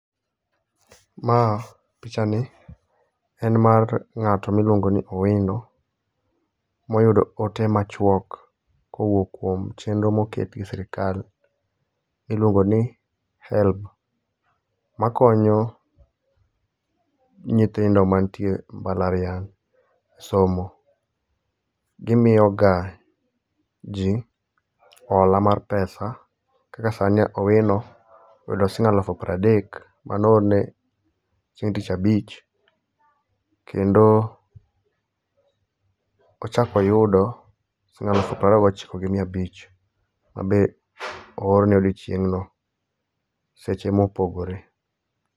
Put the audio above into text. Ma picha ni, en mar ng'ato miluongo ni Owino, moyudo ote ma chuok kowuok kuom chenro moket gi Sirkal. Iluongo ni HELB. Ma konyo nyithindo mantie mbalariany somo. Gimiyo ga ji hola mar pesa. Kaka sani Owino, oyudo siling' alufu piero adek mane oorne chieng' tich abich. Kendo, ochak oyudo siling' alufu piero ariyo gi ochiko gi mia abich, ma be oorne odiochieng' no. Seche e ma opogore.